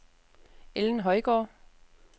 Ellen Højgaard